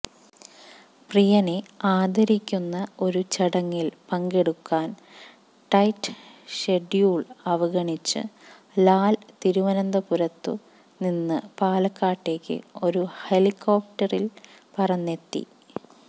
പ്രിയനെ ആദരിയ്ക്കുന്ന ഒരു ചടങ്ങില് പങ്കെടുക്കാന് ടൈറ്റ് ഷെഡ്യൂള് അവഗണിച്ച് ലാല് തിരുവനന്തപുരത്തു നിന്നും പാലക്കാട്ടേക്ക് ഒരു ഹെലിക്കോപ്റ്ററില് പറന്നെത്തി